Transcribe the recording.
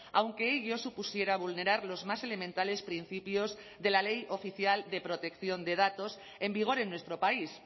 aunque ello supusiera vulnerar los más elementales principios de la ley oficial de protección de datos en vigor en nuestro país